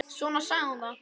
Svona sagði hún það.